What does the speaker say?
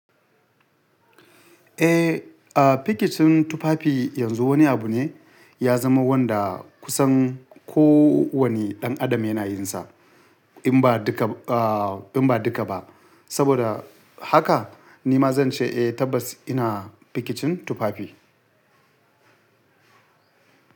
Eh, a pikicin tufafi yanzu wani abu ne ya zama wanda kusan kowane ɗan adam yana yin sa in ba duka a in ba duka ba. Saboda haka ni ma zan ce eh tabbas ina pikicin tufafi.